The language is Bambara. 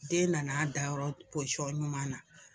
Den nana dayɔrɔ pɔsiyɔn ɲuman na.